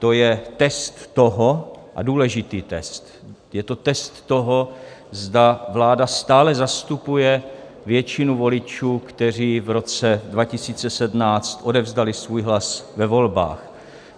To je test toho - a důležitý test - je to test toho, zda vláda stále zastupuje většinu voličů, kteří v roce 2017 odevzdali svůj hlas ve volbách.